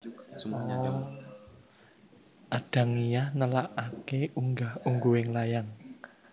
Adangiyah nelakake unggah ungguhing layang